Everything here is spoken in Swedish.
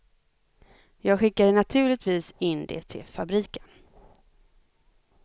Jag skickade naturligtvis in det till fabriken.